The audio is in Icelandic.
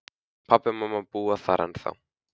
Pabbi og mamma búa þar ennþá.